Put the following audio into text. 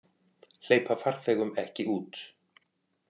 Hleypa farþegum ekki út